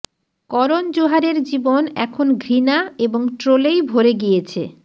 করণ জোহারের জীবন এখন ঘৃণা এবং ট্রোলেই ভরে গিয়েছে